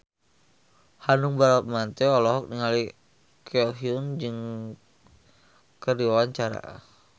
Hanung Bramantyo olohok ningali Ko Hyun Jung keur diwawancara